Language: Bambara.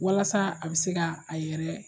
Walasa a bɛ se ka a yɛrɛ